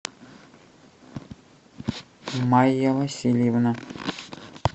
майя васильевна